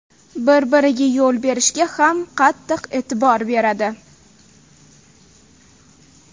Bir-biriga yo‘l berishga ham qattiq e’tibor beradi.